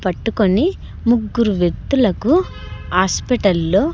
పట్టుకొని ముగ్గురు వెత్తులకు హాస్పిటల్ లో.